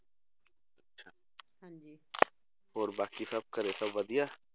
ਹੋਰ ਬਾਕੀ ਸਭ ਘਰੇ ਸਭ ਵਧੀਆ